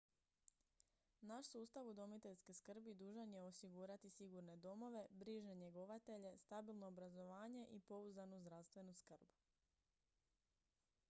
naš sustav udomiteljske skrbi dužan je osigurati sigurne domove brižne njegovatelje stabilno obrazovanje i pouzdanu zdravstvenu skrb